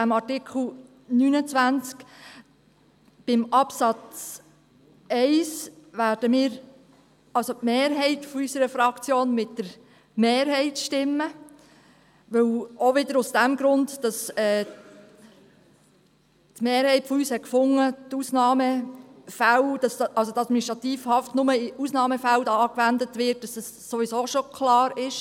Bei Absatz 1 wird die Mehrheit unserer Fraktion mit der Mehrheit stimmen, weil sie gefunden hat, dass die Administrativhaft nur in Ausnahmefällen angewendet wird und dies hier in der Schweiz ohnehin schon klar ist.